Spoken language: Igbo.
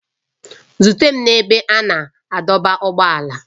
Zute m n'ebe a na-adọba ụgbọala!